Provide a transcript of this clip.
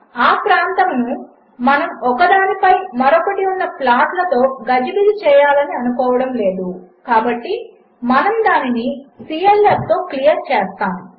ఆప్రాంతమునుమనముఒకదానిపైమరొకటిఉన్నప్లాట్లతోగజిబిజిచేయాలనిఅనుకోవడములేదుకాబట్టిమనముదానినిclf తోక్లియర్చేస్తాము